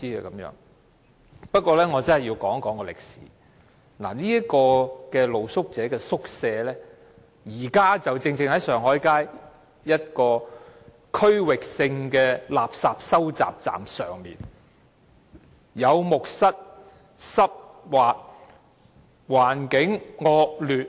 我要談一談歷史，露宿者宿舍現時設於上海街一個區域性垃圾收集站上，有木蝨，環境濕滑惡劣。